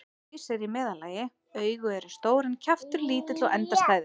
Haus er í meðallagi, augu eru stór en kjaftur lítill og endastæður.